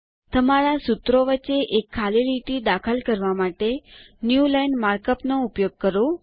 તમારા સૂત્રો વચ્ચે એક ખાલી લીટી દાખલ કરવા માટે ન્યૂલાઇન માર્કઅપ નો ઉપયોગ કરો